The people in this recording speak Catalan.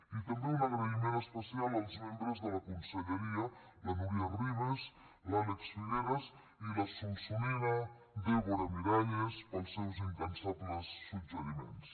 i també un agraï ment especial als membres de la conselleria la núria ribas l’àlex figueras i la solsonina dèbora miralles pels seus incansables suggeriments